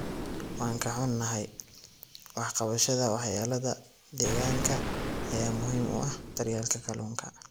Waan ka xunahay, wax ka qabashada waxyeelada deegaanka ayaa muhiim u ah daryeelka kalluunka.